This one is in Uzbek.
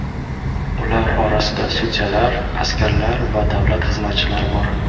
Ular orasida sudyalar, askarlar va davlat xizmatchilari bor.